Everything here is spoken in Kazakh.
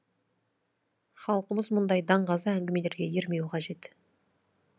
халқымыз мұндай даңғаза әңгімелерге ермеуі қажет